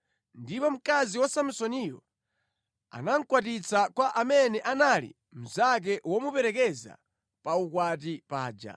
Ndipo mkazi wa Samsoniyo anamukwatitsa kwa amene anali mnzake womuperekeza pa ukwati paja.